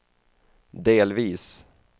delvis